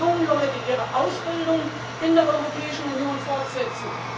Lassen Sie die jungen Leute ihre Ausbildung in der Europäischen Union fortsetzen.